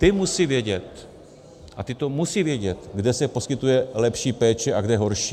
Ty musí vědět, a ty to musí vědět, kde se poskytuje lepší péče a kde horší.